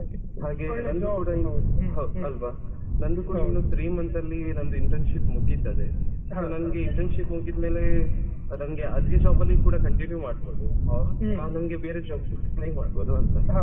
ಹ ಹ ಹೌದುಅಲ್ವ ಹಾಗೆ ನಂದು ಕೂಡ three months ಅಲ್ಲಿ internship ಮುಗಿತದೆ ನಂಗೆ internship ಮುಗಿದ್ಮೇಲೆ ನಂಗೆ ಅದೇ job ಲಿಕೂಡ continue ಮಾಡ್ಬೋದು or ನಂಗೆ ಬೇರೆ job ಗೆ try ಮಾಡ್ಬೋದು ಅಂತ.